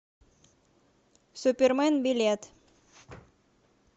супермен билет